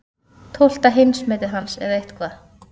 Tólfta heimsmetið hans eða eitthvað.